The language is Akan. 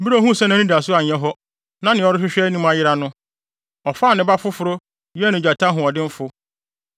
“ ‘Bere a ohuu sɛ nʼanidaso anyɛ hɔ, na nea ɔrehwɛ anim ayera no, ɔfaa ne ba foforo yɛɛ no gyata ɔhoɔdenfo.